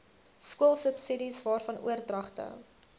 skoolsubsidies waarvan oordragte